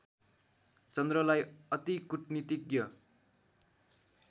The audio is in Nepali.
चन्द्रलाई अति कुटनीतिज्ञ